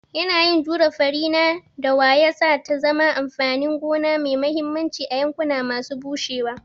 Yanayin jure fari na dawa ya sa ta zama amfanin gona mai mahimmanci a yankuna masu bushewa.